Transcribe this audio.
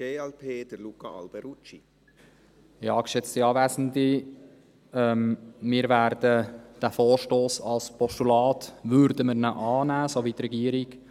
Wir würden diesen Vorstoss als Postulat annehmen, so wie die Regierung.